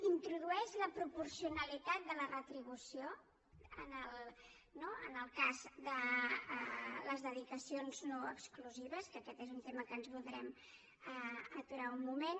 introdueix la proporcionalitat de la retribució en el cas de les dedicacions no exclusives que aquest és un tema que ens hi voldrem aturar un moment